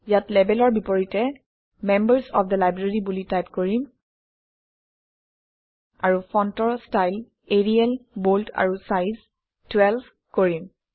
ইয়াত লেবেলৰ বিপৰীতে মেম্বাৰ্ছ অফ থে লাইব্ৰেৰী বুলি টাইপ কৰিম আৰু ফণ্টৰ ষ্টাইল এৰিয়েল বল্ড আৰু চাইজ 12 কৰিম